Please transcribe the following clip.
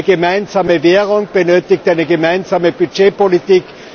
Eine gemeinsame Währung benötigt eine gemeinsame Budgetpolitik.